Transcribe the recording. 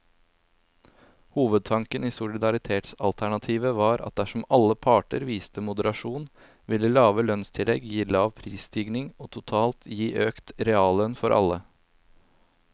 Hovedtanken i solidaritetsalternativet var at dersom alle parter viste moderasjon, ville lave lønnstillegg gi lav prisstigning og totalt gi økt reallønn for alle.